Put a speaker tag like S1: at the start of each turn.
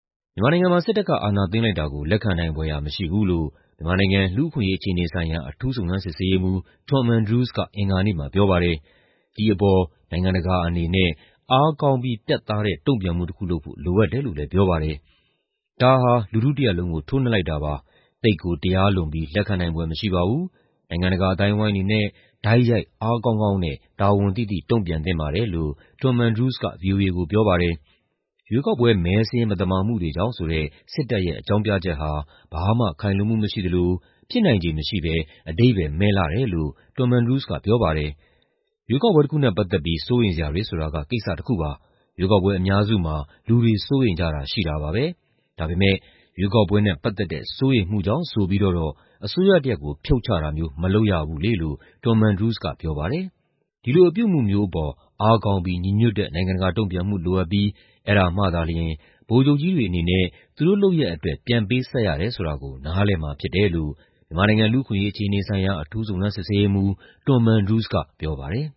S1: မြန်မာနိုင်ငံမှာ စစ်တပ်က အာဏာသိမ်းလိုက်တာကို လက်ခံနိုင်ဖွယ်ရာ မရှိဘူးလို့ မြန်မာနိုင်ငံ လူ့အခွင့်အရေး အခြေအနေဆိုင်ရာ အထူးစုံစမ်းစစ်ဆေးရေးမှူး Tom Andrews က အင်္ဂါနေ့မှာပြောပါတယ်။ ဒီအပေါ် နိုင်ငံတကာအနေနဲ့ အားကောင်းပြီး ပြတ်သားတဲ့ တုံ့ပြန်မှုတခုလုပ်ဖို့ လိုအပ်တယ်လို့လည်း ပြောပါတယ်။ "ဒါဟာ လူထုတရပ်လုံးကို ထိုးနှက်လိုက်တာပါ။ သိပ်ကို တရားလွန်ပြီး လက်ခံနိုင်ဖွယ်မရှိပါဘူး။ နိုင်ငံတကာအသိုင်းအဝိုင်းအနေနဲ့ တိုက်ရိုက်၊ အားကောင်းကောင်းနဲ့ တာဝန်သိသိ တုံ့ပြန်သင့်ပါတယ်။" လို့ Tom Andrews က ဗွီအိုအေကိုပြောပါတယ်။ ရွေးကောက်ပွဲ မဲစာရင်း မသမာမှုတွေကြောင့်ဆိုတဲ့ စစ်တပ်ရဲ့ အကြောင်းပြချက်ဟာ ဘာမှခိုင်လုံမှု မရှိသလို ဖြစ်နိုင်ခြေမရှိဘဲ အဓိပ္ပါယ်မဲ့လှတယ်လို့ Tom Andrews က ပြောပါတယ်။ "ရွေးကောက်ပွဲတခုနဲ့ ပတ်သက်ပြီး စိုးရိမ်စရာတွေဆိုတာက ကိစ္စတခုပါ။ ရွေးကောက်ပွဲအများစုမှာ လူတွေ စိုးရိမ်ကြတာရှိတာပါပဲ။ ဒါပေမဲ့ ရွေးကောက်ပွဲနဲ့ပတ်သက်တဲ့ စိုးရိမ်မှုကြောင့် ဆိုပြီးတော့တော့ အစိုးရတရပ်ကို ဖြုတ်ချတာမျိုး မလုပ်ရဘူးလေ။" လို့ Tom Andrews က ပြောပါတယ်။ ဒီလို အပြုအမူမျိုးအပေါ် အားကောင်းပြီး ညီညွတ်တဲ့ နိုင်ငံတကာတုံ့ပြန်မှု လိုအပ်ပြီး အဲဒါမှသာလ ျှင် ဗိုလ်ချုပ်ကြီးတွေအနေနဲ့ သူတို့လုပ်ရပ်အတွက် ပြန်ပေးဆပ်ရတယ်ဆိုတာကို နားလည်မှာဖြစ်တယ်လို့ မြန်မာနိုင်ငံ လူ့အခွင့်အရေးအခြေအနေဆိုင်ရာ အထူးစုံစမ်းစစ်ဆေးရေးမှူး Tom Andrews က ပြောပါတယ်